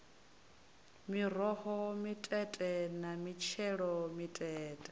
miroho mitete na mitshelo mitete